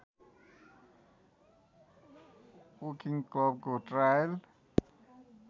Woking क्लबको trial